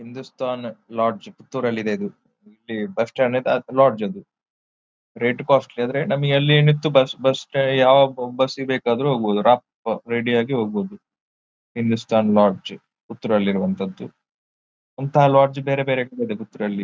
Hindustan lodge ಪುತ್ತೂರಲ್ಲಿ ಇದೆ ಇದು ಇಲ್ಲಿ ಬಸ್ ಸ್ಟಾಂಡ್ ಐತ್ತೆ ಅದು ಲಾಡ್ಜ್ ಅದು ರೇಟ್ ಕಾಸ್ಟ್ಲಿ ಆದ್ರೆ ನಮಿಗೆ ಅಲ್ಲಿ ನಿಂತು ಬಸ್ ಬಸ್ ಸ್ಟಾ ಯಾವಾಗ್ ಬಸ್ ಗೆ ಬೇಕಾದರೂ ಹೋಗಬಹುದು ರಪ್ಪ ರೆಡಿ ಆಗಿ ಹೋಗಬಹುದು ಹಿಂದುಸ್ಥಾನ್ ಲಾಡ್ಜ್ ಪುತ್ತೂರಲ್ಲಿ ಇರುವಂತದ್ದು ಇಂತಹ ಲಾಡ್ಜ್ ಬೇರೆ ಬೇರೆ ಕಡೆ ಇದೆ ಪುತ್ತೂರಲ್ಲಿ.